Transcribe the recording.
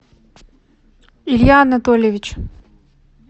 илья анатольевич